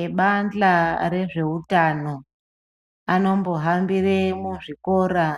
Ebandla rezveutano anombohambira muzvikora